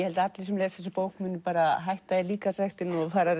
held að allir sem lesa þessa bók muni hætta í líkamsræktinni og fara